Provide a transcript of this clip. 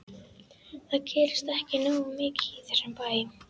Það gerist ekki nógu mikið í þessum bæ.